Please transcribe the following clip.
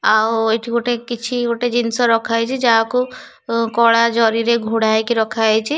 ଆଉ ଏହିଟି କିଛି ଜିନିଷ ରଖା ଯାଇଛି ଯାହାକୁ କଳା ଜାରି ଘୋଡ଼ା ହୋଇଲି ରଖା ହୋଇଛି।